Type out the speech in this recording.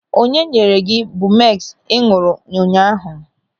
Onye nyere gị bumeks ị ñụ̀rụ̀ ụnyaahụ?